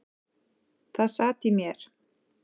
Það sat í mér.